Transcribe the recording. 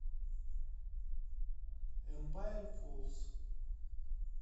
эмпайр фоллс